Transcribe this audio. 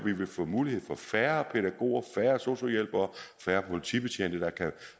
og færre pædagoger sosu hjælpere